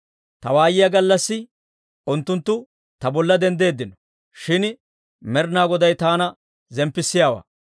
Ta waayiyaa gallassi, unttunttu ta bolla denddeeddino; Shin Med'inaa Goday taana zemppissiyaawaa.